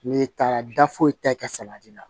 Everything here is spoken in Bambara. N'i taara da foyi ta i ka salati la